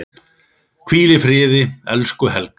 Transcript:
Hvíl í friði, elsku Helga.